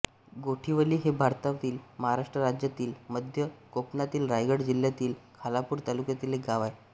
गोठिवली हे भारतातील महाराष्ट्र राज्यातील मध्य कोकणातील रायगड जिल्ह्यातील खालापूर तालुक्यातील एक गाव आहे